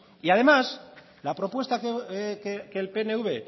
además la propuesta que el pnv